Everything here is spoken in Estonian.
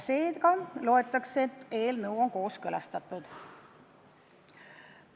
Seega loetakse, et eelnõu on kooskõlastatud.